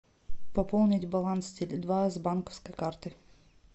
пополнить баланс теле два с банковской карты